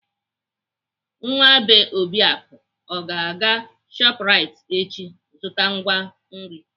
Nwa bee Obiaku ọ ga-aga Shoprite echi azụta ngwa nri?